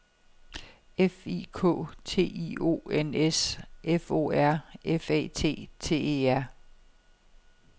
F I K T I O N S F O R F A T T E R